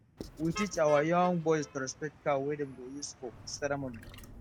we teach our our young boys to respect cow wey dem go use for ceremony